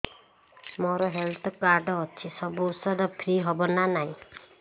ମୋର health card ଅଛି ସବୁ ଔଷଧ ଫ୍ରି ହବ ନା ନାହିଁ